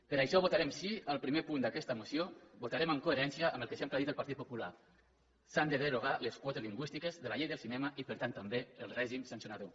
per això votarem sí al primer punt d’aquesta moció votarem en coherència amb el que sempre ha dit el partit popular s’han de derogar les quotes lingüístiques de la llei del cinema i per tant també el règim sancionador